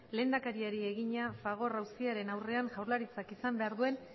lehendakariari egina fagor auziaren aurrean jaurlaritzak izan behar duen